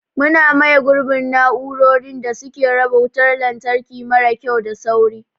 Muna maye gurbin na'urorin da suke raba wutar lantarki mara kyau da sauri.